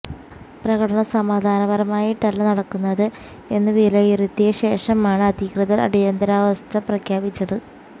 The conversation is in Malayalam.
പ്രകടനം സമാധാനപരമായിട്ടല്ല നടക്കുന്നത് എന്നു വിലയിരുത്തിയ ശേഷമാണ് അധികൃതർ അടിയന്തിരാവസ്ഥ പ്രഖ്യാപിച്ചത്